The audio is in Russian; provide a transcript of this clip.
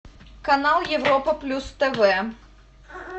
канал европа плюс тв